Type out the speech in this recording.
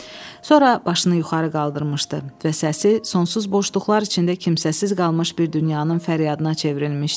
Sonra başını yuxarı qaldırmışdı və səsi sonsuz boşluqlar içində kimsəsiz qalmış bir dünyanın fəryadına çevrilmişdi.